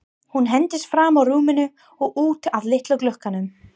Hún hentist fram úr rúminu og út að litla glugganum.